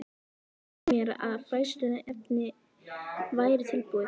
Hann tilkynnti mér, að fræðsluefnið væri tilbúið